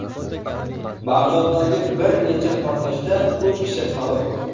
Bag‘doddagi bir necha portlashda uch kishi halok bo‘ldi.